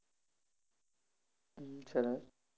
હમ સરસ